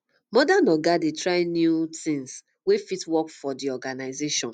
modern oga dey like try new um things wey fit work for um the organisation